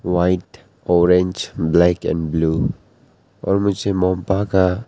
white orange black and blue और मुझे मोनपा का --